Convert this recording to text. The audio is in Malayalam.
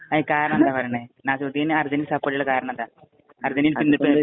അതിനു കാരണം എന്താ പറയണേ. നാസിമുദ്ദീന്‍ അര്‍ജന്‍റീനയെ സപ്പോര്‍ട്ട് ചെയ്യാനുള്ള കാരണം എന്താ?